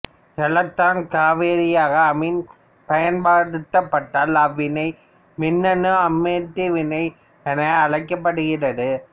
electron கவரியாக அமீன் பயன்படுத்தப்பட்டால் அவ்வினை மின்னணு அமைனேற்ற வினை என அழைக்கப்படுகிறது